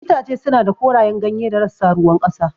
Itace suna da korayen ganye da rassa ruwan ƙasa.